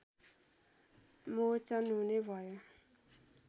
मोचन हुने भयो